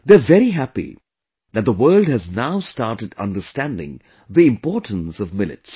They are very happy that the world has now started understanding the importance of millets